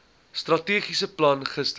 strategiese plan gister